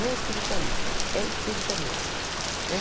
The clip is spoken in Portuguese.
Não é espiritualista, é espírita mesmo né.